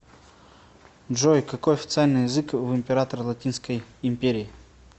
джой какой официальный язык в император латинской империи